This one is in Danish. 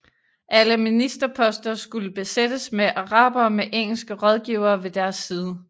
Alle ministerposter skulle besættes med arabere med engelske rådgivere ved deres side